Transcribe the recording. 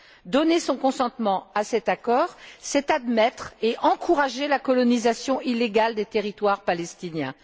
Donner son consentement à cet accord, c'est admettre et encourager la colonisation illégale des territoires palestiniens